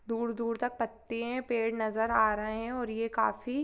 दूर-दूर तक पत्ते हैं पेड़ नजर आ रहे हैं और ये काफी--